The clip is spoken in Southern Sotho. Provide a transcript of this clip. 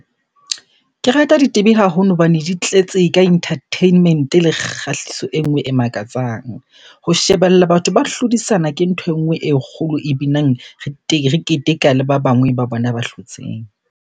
Ke rata haholo hobane di tletse ka entertainment-e le kgahliso e nngwe e makatsang. Ho shebella batho ba hlodisana ke nthwe e nngwe e kgolo e binang, re keteka le ba bangwe ba bona ba hlotseng.